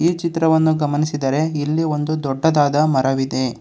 ಈ ಚಿತ್ರವನ್ನು ಗಮನಿಸಿದರೆ ಇಲ್ಲಿ ಒಂದು ದೊಡ್ಡದಾದ ಮರವಿದೆ.